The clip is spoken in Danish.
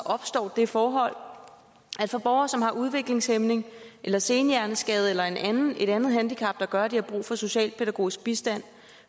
opstår det forhold at for borgere som har udviklingshæmning eller senhjerneskade eller et andet handicap der gør at de har brug for socialpædagogisk bistand